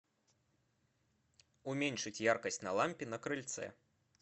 уменьшить яркость на лампе на крыльце